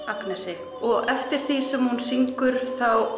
Agnesi eftir því sem hún syngur